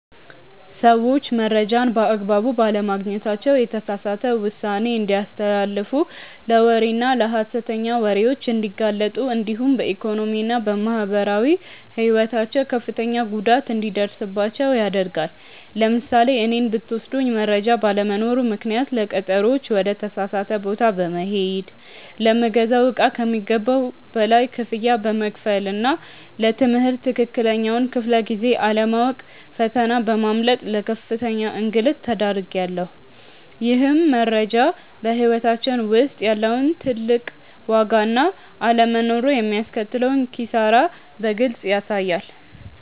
ሰዎች መረጃን በአግባቡ ባለማግኘታቸው የተሳሳተ ውሳኔ እንዲያስተላልፉ ለወሬና ለሐሰተኛ ወሬዎች እንዲጋለጡ እንዲሁም በኢኮኖሚና በማህበራዊ ሕይወታቸው ከፍተኛ ጉዳት እንዲደርስባቸው ያደርጋል። ለምሳሌ እኔን ብትወስዱኝ መረጃ ባለመኖሩ ምክንያት ለቀጠሮዎች ወደ ተሳሳተ ቦታ በመሄድ፣ ለምገዛው እቃ ከሚገባው በላይ ክፍያ በመክፈልና ለ ትምህርት ትክክለኛውን ክፍለ-ጊዜ አለማወቅ ፈተና በማምለጥ ለከፍተኛ እንግልት ተዳርጌያለሁ። ይህም መረጃ በሕይወታችን ውስጥ ያለውን ትልቅ ዋጋና አለመኖሩ የሚያስከትለውን ኪሳራ በግልጽ ያሳያል።